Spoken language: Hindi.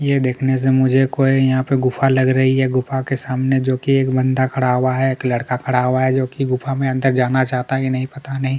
ये देखने से मुझे कोई यहाँ पे गुफा लग रही है गुफा के सामने जोकि एक बंदा खड़ा हुआ है एक लड़का खड़ा हुआ है जोकि गुफा में अंदर जाना चाहता ही नहीं पता नहीं --